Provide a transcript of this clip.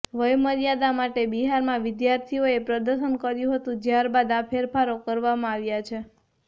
વયમર્યાદા માટે બિહારમાં વિદ્યાર્થીઓએ પ્રદર્શન કર્યું હતું જ્યાર બાદ આ ફેરફારો કરવામાં આવ્યા છે